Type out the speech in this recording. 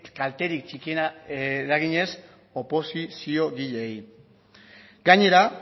kalterik txikiena eraginez oposiziogileei gainera